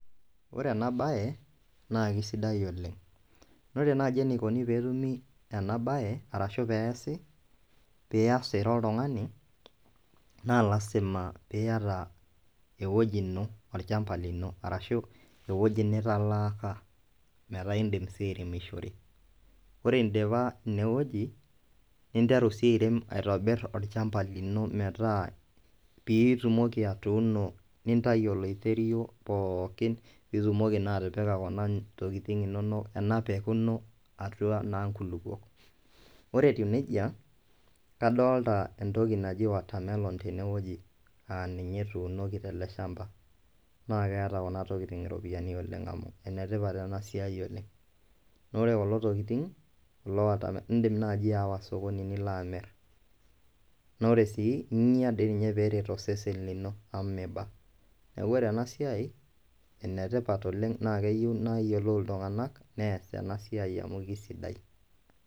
Ore ena baye naa kesidai oleng, ore naji eneikoni peetumi ena baye arashu peeasi, piyas ira oltungani, naa lasim pieta eweji ino, ilchamba lino arashu eweji nitalaaka mataa indim sii airemishore, ore indipa ineweji ninteru sii airem aitobirr ilchamba lino petaa, piitumoki atuuno nintayu olaiterio pookin,[iitumoki naa atipika kuna tokitin inono, ena pekun inono atua naa nkulupo, ore etiu neja kadolita entoki najii watermelon teine weji aa ninye etuunoki tele chamba, naa keata kuna tokitin iropiyiani oleng amu enetipata ena toki oleng, naaku ore kulo tokitin loota, indim naaji aawa sokoni nilo amir, naa ore sii inya dei ninye peeret osesen lino amu meiba, neaku ore ena siai enetipat oleng nayiolou ltunganak neas ena siai amu kesidai.